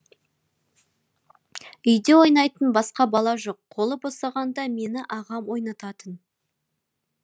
үйде ойнайтын басқа бала жоқ қолы босағанда мені ағам ойнататын